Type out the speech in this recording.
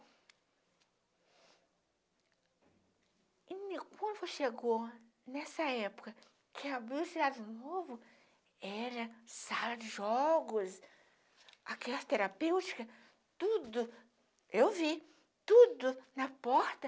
E me quando chegou nessa época que abriu o Cidade Novo, era sala de jogos, aquela terapêutica, tudo, eu vi tudo na porta,